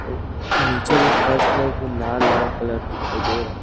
अउ निचे भी फर्श में भी लाल-लाल कलर दिखाई दे रहा है।